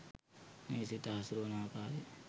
මේ සිත හසුරුවන ආකාරය